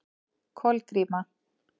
Kolgríma